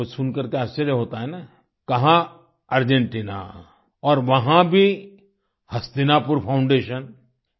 आपको सुनकर के आश्चर्य होता है न कहाँ अर्जेंटिना और वहाँ भी हस्तिनापुर फाउंडेशन